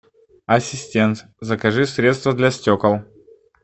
ассистент закажи средство для стекол